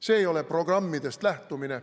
See ei ole programmidest lähtumine.